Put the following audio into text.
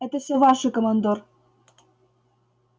это всё ваше командор